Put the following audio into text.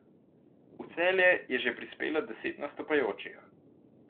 V Celje je že prispelo deset nastopajočih.